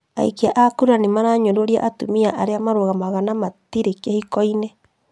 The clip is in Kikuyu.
Aikia kura nĩmaranyũrũria atumia arĩa mararugama na matirĩ kĩhikoinĩ